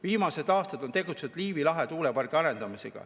Viimased aastad on tegutsetud Liivi lahe tuulepargi arendamisel.